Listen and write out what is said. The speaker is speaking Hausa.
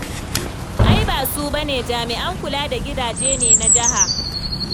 Ai ba su ba ne jami'an kula da gidaje ne na jiha.